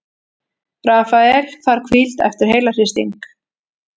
Rafael þarf hvíld eftir heilahristing